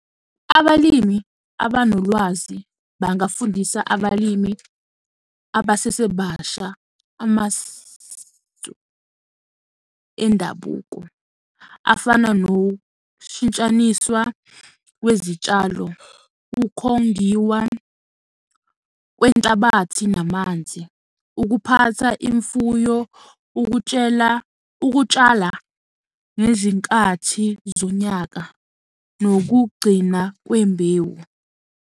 Abalimi abanolwazi bangafundisa abalimi abasesebasha amasu endabuko afana, nokushintshaniswa kwezitshalo, ukhongiwa kwenhlabathi namanzi, ukuphatha imfuyo, ukutshela ukutshala nezinkathi zonyaka, nokugcina kwembewu.